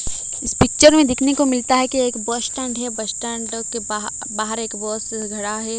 इस पिक्चर में दिखने को मिलता है कि एक बस स्टैंड है बस स्टैंड के बाह बाहर एक बस खड़ा है।